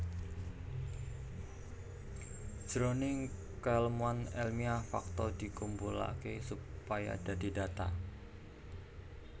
Jroning kaèlmuan èlmiah fakta dikumpulaké supaya dadi data